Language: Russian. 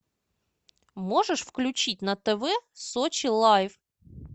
можешь включить на тв сочи лайф